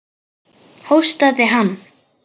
Hóstaði hann?